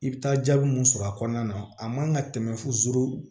I bɛ taa jaabi mun sɔrɔ a kɔnɔna na a man ka tɛmɛ fo zuru